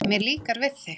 Mér líkar við